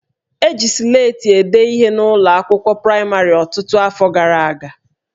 E ji Sleti ede ihe n'ụlọ akwụkwọ praịmarị ọtụtụ afọ gara aga